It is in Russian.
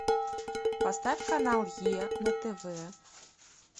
поставь канал е на тв